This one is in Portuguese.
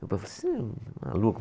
Meu pai, você é um maluco?